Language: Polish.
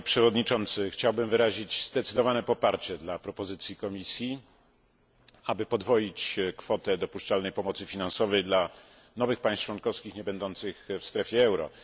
Panie przewodniczący! Chciałbym wyrazić zdecydowane poparcie dla propozycji Komisji, aby podwoić kwotę dopuszczalnej pomocy finansowej dla nowych państw członkowskich niebędących w strefie euro.